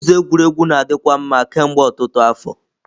Ụzọ egwuregwu na-adikwa mma kemgbe ọtụtụ afọ.